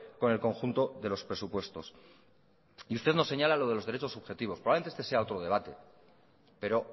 con el conjunto de los presupuestos y usted nos señala lo de los derechos subjetivos probablemente este sea otro debate pero